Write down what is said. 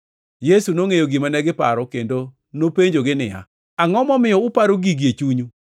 Yesu nongʼeyo gima negiparo kendo nopenjogi niya, “Angʼo momiyo uparo gigi e chunyu?